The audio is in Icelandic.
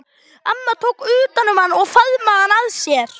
Amma tók utan um hann og faðmaði hann að sér.